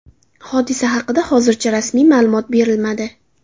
Hodisa haqida hozircha rasmiy ma’lumot berilmadi.